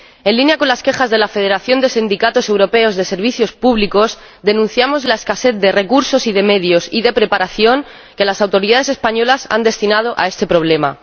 En línea con las quejas de la Federación Sindical Europea de Servicios Públicos, denunciamos la escasez de recursos, de medios y de preparación que las autoridades españolas han destinado a este problema.